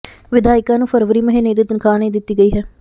ਵਿਧਾਇਕਾਂ ਨੂੰ ਫਰਵਰੀ ਮਹੀਨੇ ਦੀ ਤਨਖਾਹ ਨਹੀਂ ਦਿੱਤੀ ਗਈ ਹੈ